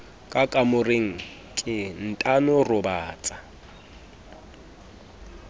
ka kamoreng ke ntano robatsa